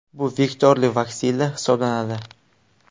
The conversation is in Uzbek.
Bu vektorli vaksina hisoblanadi.